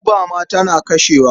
Guba ma tana kashewa.